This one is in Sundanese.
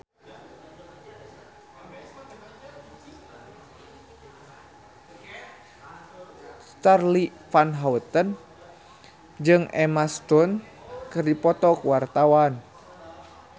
Charly Van Houten jeung Emma Stone keur dipoto ku wartawan